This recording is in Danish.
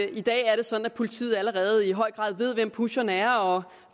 i dag er det sådan at politiet allerede i høj grad ved hvem pusherne er og